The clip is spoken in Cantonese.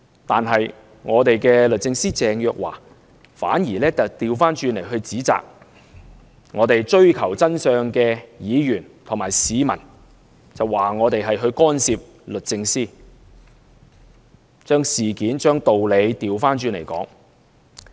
但是，我們的律政司司長鄭若驊，反而指責追求真相的議員和市民，說我們干涉律政司，將事件和道理倒過來說。